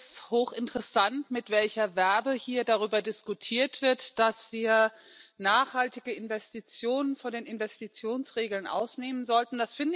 Ich finde es hochinteressant, mit welcher Verve hier darüber diskutiert wird, dass wir nachhaltige Investitionen von den Investitionsregeln ausnehmen sollten.